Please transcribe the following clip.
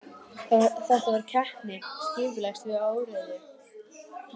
Þetta var keppni skipulags við óreiðu.